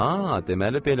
A, deməli belə.